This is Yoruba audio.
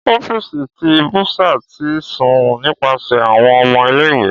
Ọfiisi ti bursar ti sun nipasẹ awọn ọmọ ile-iwe.